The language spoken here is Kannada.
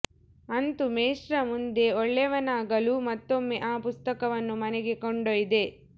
ಅಂತೂ ಮೇಷ್ಟ್ರ ಮುಂದೆ ಒಳ್ಳೆಯವನಾಗಲೂ ಮತ್ತೊಮ್ಮೆ ಆ ಪುಸ್ತಕವನ್ನು ಮನೆಗೆ ಕೊಂಡೊಯ್ದೆ